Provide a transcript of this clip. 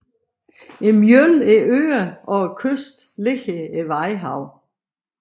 Mellem øerne og kysten ligger Vadehavet